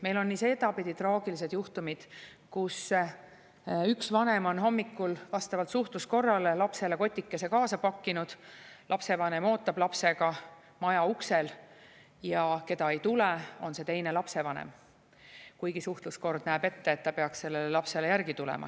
Meil on nii sedapidi traagilisi juhtumeid, kus üks vanem on hommikul vastavalt suhtluskorrale lapsele kotikese kaasa pakkinud, ta ootab lapsega maja uksel – ja keda ei tule, on see teine lapsevanem, kuigi suhtluskord näeb ette, et ta peaks lapsele järgi tulema.